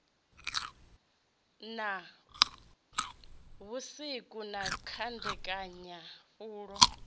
na vhusiku na kandekanya pfulo